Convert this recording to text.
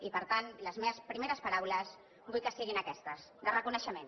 i per tant les meves paraules vull que siguin aquestes de reconeixement